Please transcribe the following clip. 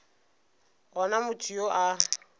go na motho yo a